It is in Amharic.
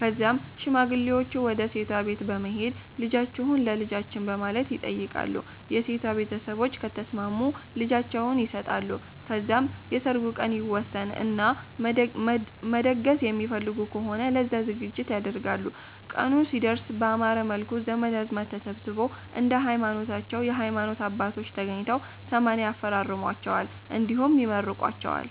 ከዛም ሽማግሌወቹ ወደ ሴቷ ቤት በመሄድ ልጃቺሁን ለ ልጃቺን በማለት ይተይቃሉ የ ሴቷ ቤተሰቦች ከተስማሙ ልጃቸውን ይሰጣሉ ከዛም የ ሰርጉ ቀን ይወሰን እና መደገስ የሚፈልጉ ከሆነ ለዛ ዝግጅት ያደርጋሉ ቀኑም ሲደርስ ባማረ መልኩ ዘመድ አዝማድ ተሰብስቦ፣ እንደየ ሀይማኖታቸው የ ሀይማኖት አባቶች ተገኝተው 80 ያፈራርሟቸዋል እንዲሁም ይመርቋቸዋል